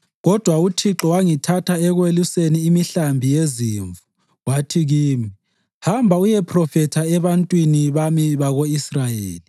Kodwa uThixo wangithatha ekweluseni imihlambi yezimvu wathi kimi, ‘Hamba uyephrofetha ebantwini bami bako-Israyeli.’